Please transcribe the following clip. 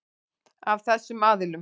Af þessum aðilum.